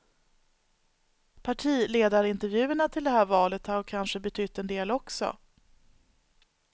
Partiledarintervjuerna till det här valet har kanske betytt en del också.